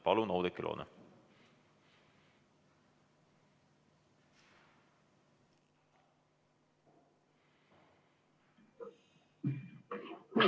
Palun, Oudekki Loone!